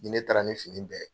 Ni ne taara ni fini bɛɛ ye